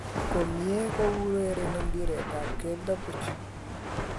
komie ko urereni mbiret ak keldo puch